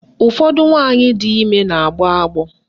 Ụfọdụ nwaanyị di ime na-agbọ agbọ.